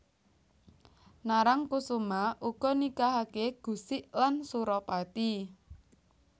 Narangkusuma uga nikahake Gusik lan Suropati